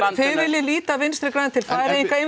þið viljið líta Vinstri græn til Færeyinga eigum